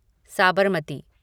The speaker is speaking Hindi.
साबरमती